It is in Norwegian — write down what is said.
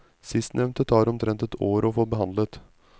Sistnevnte tar omtrent ett år å få behandlet.